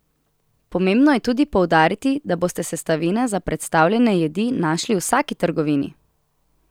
Pomembno je tudi poudariti, da boste sestavine za predstavljene jedi našli v vsaki trgovini!